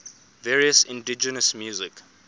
various indigenous music